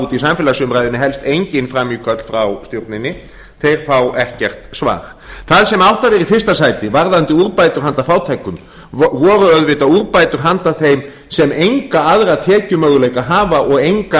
úti í samfélagsumræðunni helst engin frammíköll frá stjórninni þeir fá ekkert svar það sem átti að vera í fyrsta sæti varðandi úrbætur handa fátækum voru auðvitað úrbætur handa þeim sem enga aðra tekjumöguleika hafa og enga